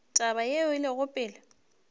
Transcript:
taba yeo e lego pele